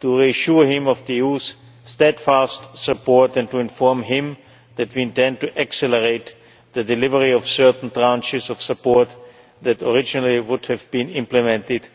to assure him of the EU's steadfast support and to inform him that we intend to accelerate the delivery of certain tranches of support that originally would have been implemented